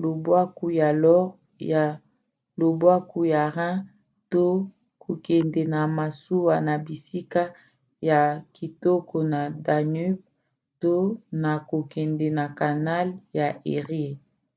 lobwaku ya loire ya lobwaku ya rhin to kokende na masuwa na bisika ya kitoko na danube to na kokende na canal ya érié